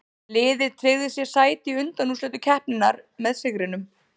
Liðið tryggði sér sæti í undanúrslitum keppninnar með sigrinum.